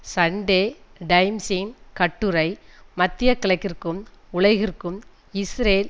Sunday டைம்சின் கட்டுரை மத்திய கிழக்கிற்கும் உலகிற்கும் இஸ்ரேல்